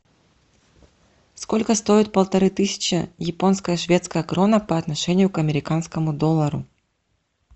сколько стоит полторы тысячи японская шведская крона по отношению к американскому доллару